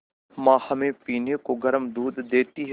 माँ हमें पीने को गर्म दूध देती हैं